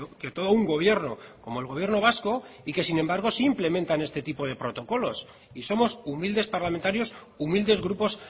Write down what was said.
que todo un gobierno como el gobierno vasco y que sin embargo sí implementan este tipo de protocolos y somos humildes parlamentarios humildes grupos